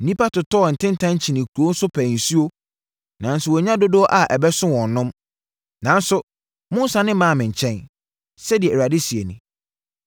Nnipa totɔɔ ntentan kyinii nkuro so pɛɛ nsuo nanso wɔannya dodo a ɛbɛso wɔn nom, nanso, monnsane mmaa me nkyɛn,” sɛdeɛ Awurade seɛ nie.